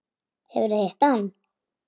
Hefurðu hitt hann?